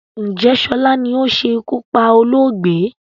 Ǹjẹ́ sọlá ni ó ṣe iku pá olóògbé?